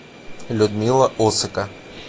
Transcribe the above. людмила осыка